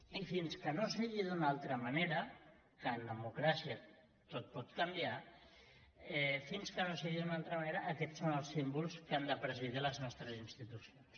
i fins que no sigui d’una altra manera que en democràcia tot pot canviar fins que no sigui d’una altra manera aquests són els símbols que han de presidir les nostres institucions